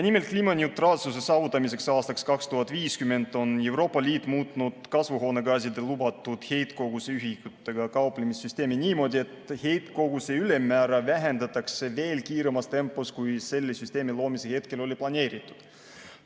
Nimelt, kliimaneutraalsuse saavutamiseks aastaks 2050 on Euroopa Liit muutnud kasvuhoonegaaside lubatud heitkoguse ühikutega kauplemise süsteemi niimoodi, et heitkoguse ülemmäära vähendatakse veel kiiremas tempos, kui selle süsteemi loomise hetkel oli planeeritud.